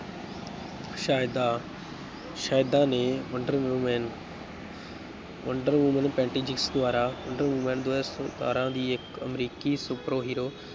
ਸੈਦਾ ਸੈਦਾ ਨੇ wonder woman wonder woman Patty Jenkins ਦੁਆਰਾ ਵੰਡਰ ਵੁਮੈਨ ਦੋ ਹਜ਼ਾਰ ਸਤਾਰਾਂ ਦੀ ਇੱਕ ਅਮਰੀਕੀ super hero